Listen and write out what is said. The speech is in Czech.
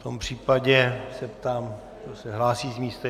V tom případě se ptám, kdo se hlásí z místa.